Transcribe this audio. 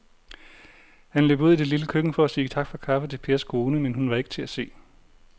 Han løb ud i det lille køkken for at sige tak for kaffe til Pers kone, men hun var ikke til at se.